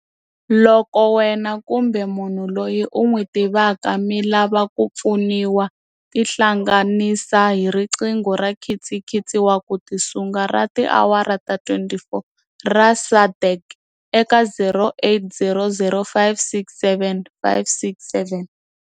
Loko wena kumbe munhu loyi u n'wi tivaka mi lava ku pfuniwa, tihlanganisa hi riqingho ra nkitsikitsi wa ku tisunga ra tiawara ta 24 ra SADAG eka 0800 567 567.